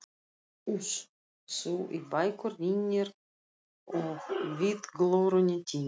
Uss, þú í bækurnar rýnir og vitglórunni týnir.